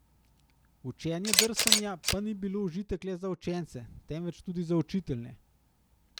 Učenje drsanja pa ni bilo užitek le za učence, temveč tudi za učitelje.